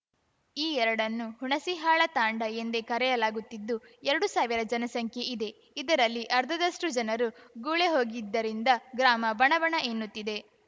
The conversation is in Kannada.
ಈ ಎರಡನ್ನೂ ಹುಣಸಿಹಾಳ ತಾಂಡಾ ಎಂದೇ ಕರೆಯಲಾಗುತ್ತಿದ್ದು ಎರಡು ಸಾವಿರ ಜನಸಂಖ್ಯೆ ಇದೆ ಇದರಲ್ಲಿ ಅರ್ಧದಷ್ಟುಜನರು ಗುಳೆ ಹೋಗಿದ್ದರಿಂದ ಗ್ರಾಮ ಬಣಬಣ ಎನ್ನುತ್ತಿದೆ